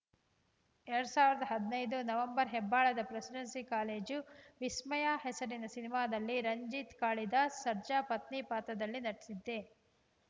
ಎರಡ್ ಸಾವಿರದ ಹದಿನೈದು ನವೆಂಬರ್‌ ಹೆಬ್ಬಾಳದ ಪ್ರೆಸಿಡೆನ್ಸಿ ಕಾಲೇಜು ವಿಸ್ಮಯ ಹೆಸರಿನ ಸಿನಿಮಾದಲ್ಲಿ ರಂಜಿತ್‌ ಕಾಳಿದಾಸ್‌ ಸರ್ಜಾ ಪತ್ನಿ ಪಾತ್ರದಲ್ಲಿ ನಟಿಸಿದ್ದೆ